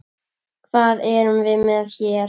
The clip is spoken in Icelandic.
Hvað erum við með hér?